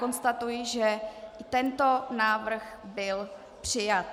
Konstatuji, že tento návrh byl přijat.